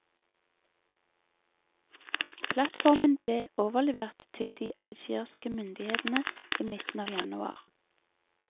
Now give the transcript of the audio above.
Plattformen ble overlevert til de algeriske myndighetene i midten av januar.